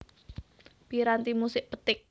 Piranti musik petik